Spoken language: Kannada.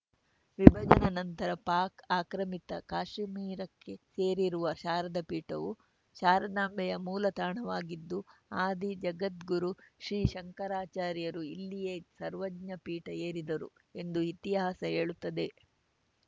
ವಿಭಜನಾ ನಂತರ ಪಾಕ್‌ ಆಕ್ರಮಿತ ಕಾಷುಮಿರಕ್ಕೆ ಸೇರಿರುವ ಶಾರದಾ ಪೀಠವು ಶಾರದಾಂಬೆಯ ಮೂಲ ತಾಣವಾಗಿದ್ದು ಆದಿ ಜಗದ್ಗುರು ಶ್ರೀ ಶಂಕರಾಚಾರ್ಯರು ಇಲ್ಲಿಯೇ ಸರ್ವಜ್ಞ ಪೀಠ ಏರಿದ್ದರು ಎಂದು ಇತಿಹಾಸ ಹೇಳುತ್ತದೆ